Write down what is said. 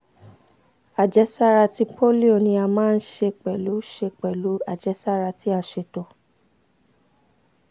ajẹsara ti polio ni a maa n ṣe pẹlu ṣe pẹlu ajẹsara ti a ṣeto